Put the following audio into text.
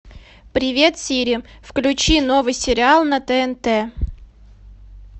привет сири включи новый сериал на тнт